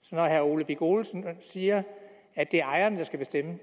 så når herre ole birk olesen siger at det er ejerne der skal bestemme